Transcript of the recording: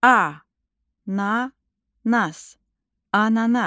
Ananas.